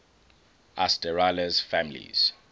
asterales families